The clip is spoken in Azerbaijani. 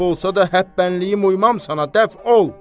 Məhv olsa da həp bənliyim, uyumam sənə dəf ol!